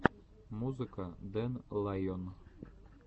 музыка дэн лайон